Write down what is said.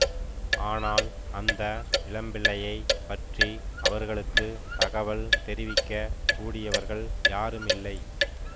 ஆனால் அந்த இளம்பிள்ளையைப் பற்றி அவர்களுக்கு தகவல் தெரிவிக்க கூடியவர்கள் யாருமில்லை